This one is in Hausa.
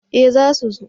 Eh za su zo